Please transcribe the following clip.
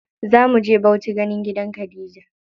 Zamu je Bauchi ganin gidan Khadija.